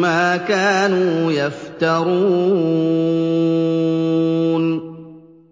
مَّا كَانُوا يَفْتَرُونَ